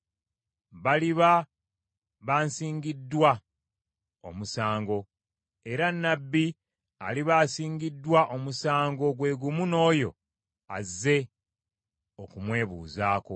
Baliba bansingiddwa omusango, era nnabbi aliba asingiddwa omusango gwe gumu n’oyo azze okumwebuuzaako.